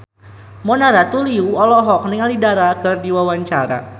Mona Ratuliu olohok ningali Dara keur diwawancara